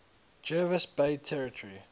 jervis bay territory